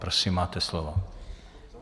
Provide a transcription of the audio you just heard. Prosím, máte slovo.